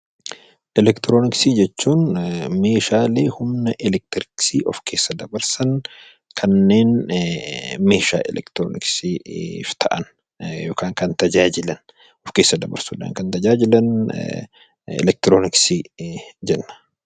Elektirooniksii jechuun meeshaalee humna elektiriksii of keessa dabarsan, kanneen meeshaa elektirooniksiif ta'an yookaan kan tajaajilan, of keessa dsbarsuu dhaan kan tajaajilan 'Elektirooniksii' jedhama.